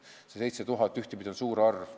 See 7000 on ühtepidi võttes suur arv.